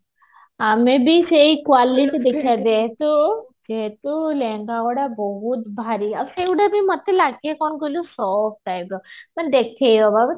ଆମେ ବି ସେଇ quality ଦେଖିବା ଯେହେତୁ ଯେହେତୁ ଲେହେଙ୍ଗା ଗୁଡା ବହୁତ ଭାରି ଆଉ ସେଗୁଡା ଯୋଉ ନଥିଲା କି କଣ କହିଲୁ ମାନେ ଦେଖେଇହବ